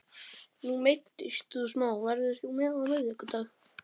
Nú meiddist þú smá, verður þú með á miðvikudag?